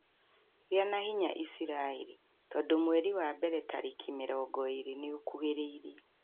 Gĩa na hinya Iciraĩri tondũ mweri wa mbere tarĩki mĩrongo ĩrĩ nĩ ukuhĩrĩirie!